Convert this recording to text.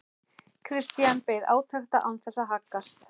Christian beið átekta án þess að haggast.